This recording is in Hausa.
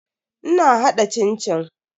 Ina hada cin-cin.